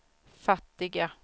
fattiga